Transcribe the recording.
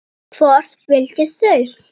Hvort vildu þau?